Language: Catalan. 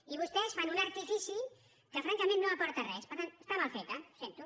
i vostès fan un artifici que francament no aporta res per tant està mal feta ho sento